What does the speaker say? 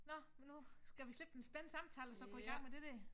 Nå men nu skal vi slippe den spændende samtale og så gå i gang med det dér